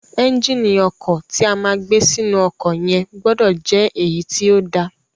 Ẹ́ńgìnì ọkọ̀ ti a máa gbé sínú ọkọ̀ yẹn gbọdọ̀ jẹ́ èyí tí ó da.